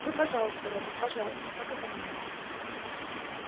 ну пожалуйста робби пожалуйста покатай меня